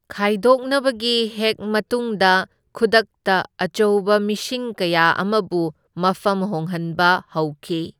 ꯈꯥꯏꯗꯣꯛꯅꯕꯒꯤ ꯍꯦꯛ ꯃꯇꯨꯡꯗ ꯈꯨꯗꯛꯇ ꯑꯆꯧꯕ ꯃꯤꯁꯤꯡ ꯀꯌꯥ ꯑꯃꯕꯨ ꯃꯐꯝ ꯍꯣꯡꯍꯟꯕ ꯍꯧꯈꯤ꯫